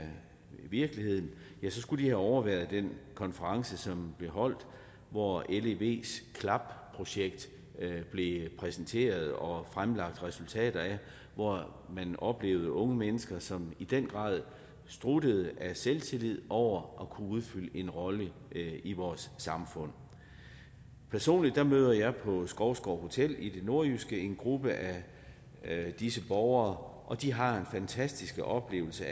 virkeligheden så skulle de have overværet den konference som blev holdt hvor levs klap projekt blev præsenteret og fremlagt resultater af hvor man oplevede unge mennesker som i den grad struttede af selvtillid over at kunne udfylde en rolle i vores samfund personligt møder jeg på skovsgård hotel i det nordjyske en gruppe af disse borgere og de har en fantastisk oplevelse